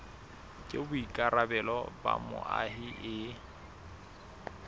ke boikarabelo ba moahi e